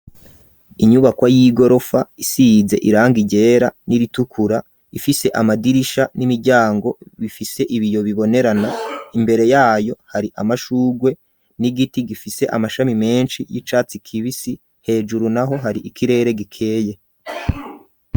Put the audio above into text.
Inyubako y'igorofa, isize irangi ryera, n'iritukura, ifise amadirisha n'imiryango, bifise ibiyo, bibonerana; imbere yayo, hari amashurwe, n'igiti, gifise amashami menshi, y'icatsi kibisi; hejuru naho, hari ikirere gikeye.